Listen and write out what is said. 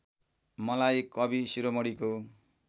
मलाई कवि शिरोमणिको